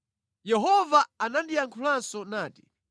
Yehova anandiyankhulanso nati,